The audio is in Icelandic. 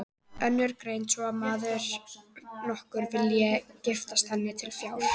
Önnur greinir svo frá að maður nokkur vildi giftast henni til fjár.